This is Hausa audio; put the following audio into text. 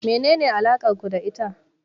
Menene alakar ku da ita?